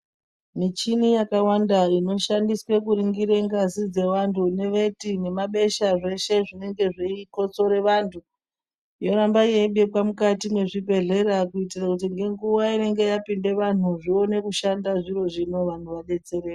Michina yakawanda inoshandiswa kuningira ngazi dzevantu nekuti nemabesha zveshe zveikotsora vantu yoramba yeibekwa mukati mezvibhedhlera kuitira ngenguwa inenge yapinda vanhu zvione kushanda vantu vadetsereke.